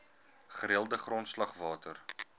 gereelde grondslag water